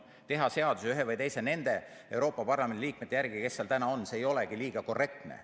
Teha seadusi ühe või teise Euroopa Parlamendi liikme järgi, kes seal praegu on, ei olegi korrektne.